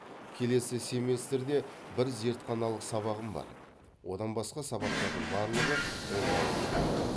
келесі семестрде бір зертханалық сабағым бар одан басқа сабақтардың барлығы онлайн өтеді